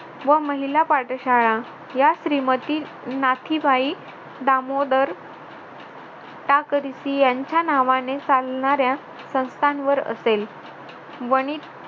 व महिला पाठशाळा या श्रीमती नाथीबाई दामोदर टाकरसी त्यांच्या नावाने चालणाऱ्या संस्थांवर असेल वनिता